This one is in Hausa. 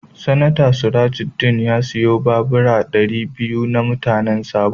Seneta Surajudeen ya siya babura dari biyu ma mutanen Sabo.